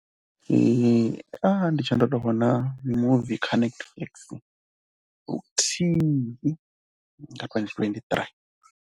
, ndi tshe ndo tou vhona mimuvi kha Netflix luthihi nga twendi twendi ṱirii.